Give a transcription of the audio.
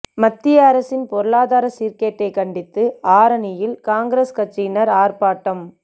மத்திய அரசின் பொருளாதார சீா்கேட்டை கண்டித்து ஆரணியில் காங்கிரஸ் கட்சியினா் ஆா்ப்பாட்டம்